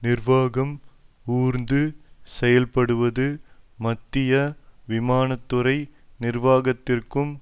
நிர்வாகம் ஊர்ந்து செயல்படுவது மத்திய விமான துறை நிர்வாகத்திற்கும்